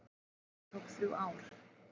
En það tók þrjú ár.